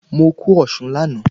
Mo kún osùn láàná